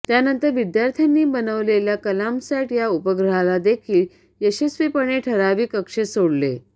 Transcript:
त्यानंतर विद्यार्थ्यांनी बनवलेल्या कलामसॅट या उपग्रहालादेखील यशस्वीपणे ठरावीक कक्षेत सोडले